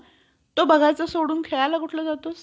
फार फारच कमी लोकांना माहिती असेल म्हणूनच जिजामाता